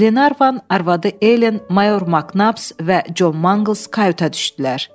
Qlenarvan, arvadı Elen, mayor Maknabs və Con Mangls kayuta düşdülər.